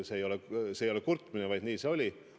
See ei ole kurtmine, lihtsalt nii see oli.